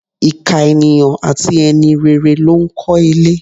Ìkà ènìyàn àti e̩ni rere ló ń ko̩ ilé.